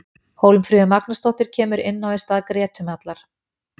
Hólmfríður Magnúsdóttir kemur inná í stað Gretu Mjallar.